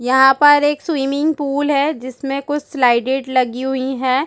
यहाँ पर एक स्विमिंग पूल है जिसमें कुछ स्लाइडेड लगी हुई है।